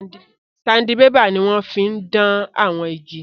Sandibébà ni wọ́n fí n dán àwọn igi